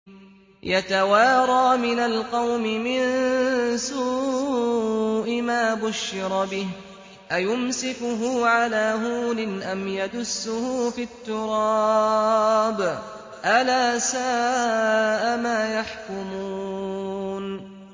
يَتَوَارَىٰ مِنَ الْقَوْمِ مِن سُوءِ مَا بُشِّرَ بِهِ ۚ أَيُمْسِكُهُ عَلَىٰ هُونٍ أَمْ يَدُسُّهُ فِي التُّرَابِ ۗ أَلَا سَاءَ مَا يَحْكُمُونَ